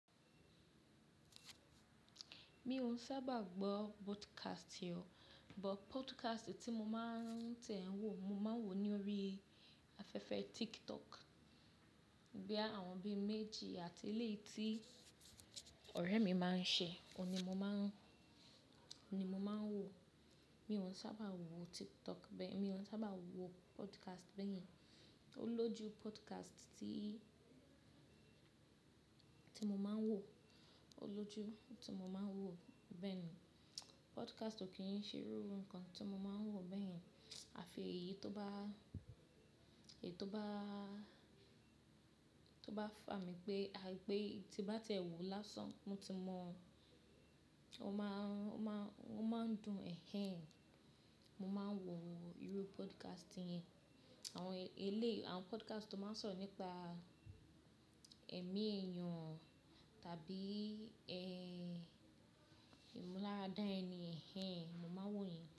Mi ò sábà gbọ́ podcast ọ, but podcast tí mo máa ń tẹ̀wọ́, mo máa ń wò ni órí afẹ́fẹ́ TikTok. Boya àwọn bí méjì àti eléyìí tí ọ̀rẹ́ mi máa ń ṣe, òun ní mo máa ń wò. Mi ò sábà wò TikTok bẹ́ẹ̀, mi ò sábà wò podcast bẹ́yẹn. Ó lójú podcast tí mo máa ń wò, ó lójú tí mo máa ń wò, bẹ́ẹ̀ni. Podcast ò kí ń ṣe irú nǹkan tí mo máa ń wò bẹ́yẹn. Àfi èyí tó bá fà mí pé, tí bá tẹ̀wọ́ lásán, mọ ti mọ, ó máa ń dùn. Ẹ̀hẹn, mo máa ń wò irú podcast yẹn. Àwọn podcast tó máa ń sọ̀rọ̀ nípa ẹ̀mí èèyàn tàbí ìmúláradá ẹni, ẹ̀hẹn, mo máa ń wò yẹn.